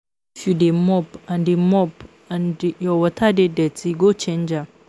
If you dey mop and dey mop and your water don dirty go change am